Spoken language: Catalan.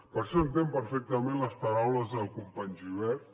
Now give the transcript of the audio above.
per això entenc perfectament les paraules del company gibert